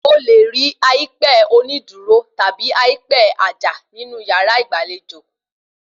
O lè rí àìpẹ onídùúró tàbí àìpẹ àjà ní yàrá ìgbàlejò